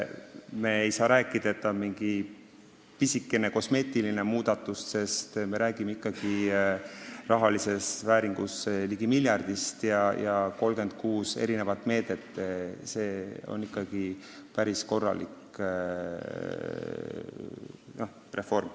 Me ei saa rääkida mingist pisikesest kosmeetilisest muudatusest, sest me räägime rahalises vääringus ligi miljardist eurost ja 36 meetmest – see on ikkagi päris korralik reform.